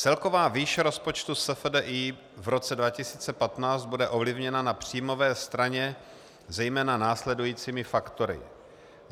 Celková výše rozpočtu SFDI v roce 2015 bude ovlivněna na příjmové straně zejména následujícími faktory.